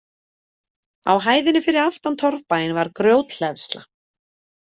Á hæðinni fyrir aftan torfbæinn var grjóthleðsla.